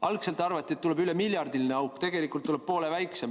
Algselt arvati, et tuleb üle miljardiline auk, tegelikult tuli poole väiksem.